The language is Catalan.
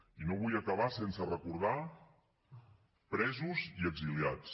i no vull acabar sense recordar presos i exiliats